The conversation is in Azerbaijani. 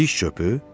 Diş çöpü?